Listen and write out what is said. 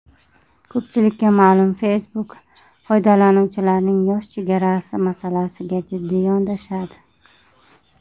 Ko‘pchilikka ma’lum, Facebook foydalanuvchilarning yosh chegarasi masalasiga jiddiy yondashadi.